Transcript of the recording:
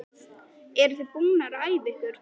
Linda: Eruð þið búnar að æfa ykkur?